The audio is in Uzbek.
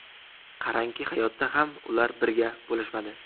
Qarangki, hayotda ham ular birga bo‘lishmadi.